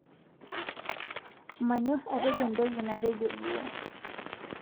Manyor atejo ntoki natejo duo